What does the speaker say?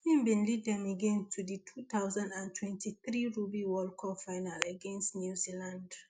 im lead dem again to di two thousand and twenty-three rugby world cup final against new zealand